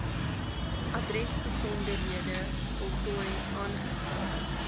adresbesonderhede voltooi aangesien